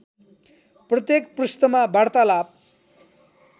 प्रत्येक पृष्ठमा वार्तालाप